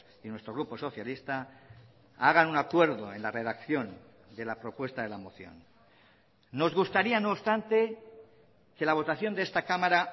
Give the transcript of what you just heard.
y nuestro grupo socialista hagan un acuerdo en la redacción de la propuesta de la moción nos gustaría no obstante que la votación de esta cámara